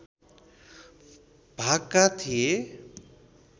भागका थिए